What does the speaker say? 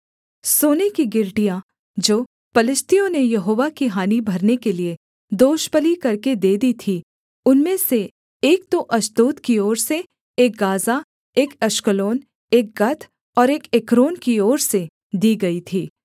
सोने की गिलटियाँ जो पलिश्तियों ने यहोवा की हानि भरने के लिये दोषबलि करके दे दी थीं उनमें से एक तो अश्दोद की ओर से एक गाज़ा एक अश्कलोन एक गत और एक एक्रोन की ओर से दी गई थी